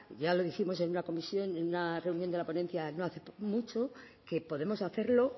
ya lo dijimos en una comisión en una reunión de la ponencia no hace mucho que podemos hacerlo